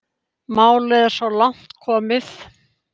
Málið er svo langt komið.